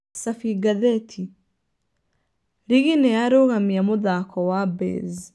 Cabi ngathĩti: Rigi nĩyarũgamia mũthako wa Baze.